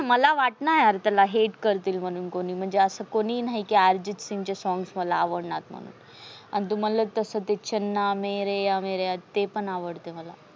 मला वाटणा यार कोणी hate करतील म्हणून. अस कोणीही नाही अर्जित सिंगचे songs मला आवडणार नाही म्हणून तु मनलस तस चन्ना मरेया मेरेया ते पण आवडते मला.